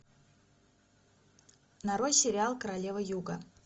нарой сериал королева юга